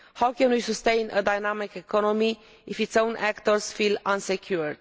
How can we sustain a dynamic economy if its own actors feel insecure?